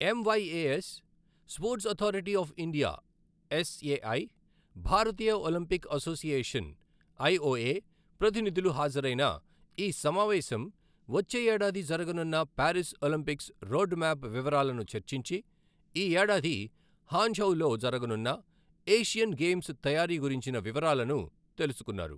MYAS, sports authority of India S A I, భారతీయ Olympic association I O A ప్రతినిధులు హాజరైన ఈ సమావేశం వచ్చే ఏడాది జరుగనున్న పారిస్ ఒలింపిక్స్ రోడ్ మ్యాప్ వివరాలను చర్చించి, ఈ ఏడాది హాంఝౌలో జరుగనున్న ఏషియన్ గేమ్స్ తయారీ గురించిన వివరాలను తెలుసుకున్నారు.